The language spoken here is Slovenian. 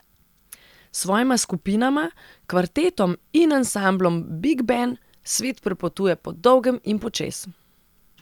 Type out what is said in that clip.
S svojima skupinama, kvartetom in ansamblom Big Ben, svet prepotuje po dolgem in počez.